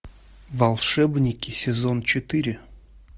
волшебники сезон четыре